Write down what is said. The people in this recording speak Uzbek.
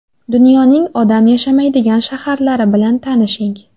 Dunyoning odam yashamaydigan shaharlari bilan tanishing .